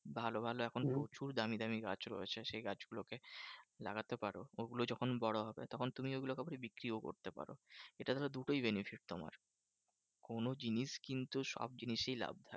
ভালো ভালো এখন প্রচুর দামি দামি গাছ রয়েছে সেই গাছগুলো কে লাগাতে পারো। ওগুলো যখন বড় হবে তখন তুমি ওগুলো কাউকে বিক্রিও করতে পারো। এটা ধরো দুটোই benefit তোমার। কোনো জিনিস কিন্তু সব জিনিসই লাভ।